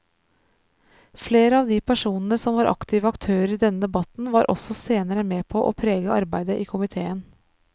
Flere av de personene som var aktive aktører i denne debatten var også senere med på å prege arbeidet i komiteen.